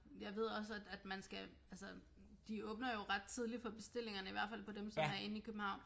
Jeg ved også at at man skal altså de åbner jo ret tidligt for bestillingerne i hvert fald for dem som er inde i København